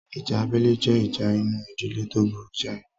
Ìjà abẹ́lé jẹ́ ìjà inú ìdílé tó burú jáì